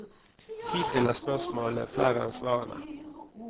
Hittil er spørsmålene flere enn svarene.